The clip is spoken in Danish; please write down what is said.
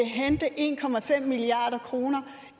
en milliard kroner